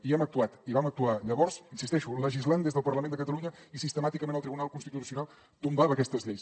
i hem actuat i vam actuar llavors hi insisteixo legislant des del parlament de catalunya i sistemàticament el tribunal constitucional tombava aquestes lleis